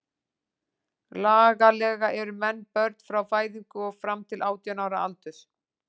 Lagalega eru menn börn frá fæðingu og fram til átján ára aldurs.